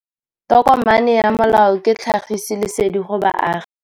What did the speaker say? Tokomane ya molao ke tlhagisi lesedi go baagi.